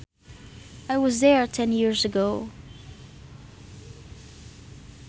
I was there ten years ago